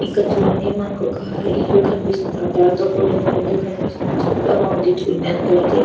ఇక్కడ చూడండి మనకి ఒక ఇల్లు కనిపిస్తుంది. అద్దాలతో కూడిన ఇల్లు కనిపిస్తుంది చాలా బాగుంది చూడ్డానికి అయితే.